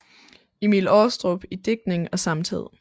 Emil Aarestrup i digtning og samtid